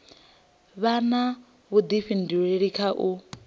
vha na vhudifhinduleli kha u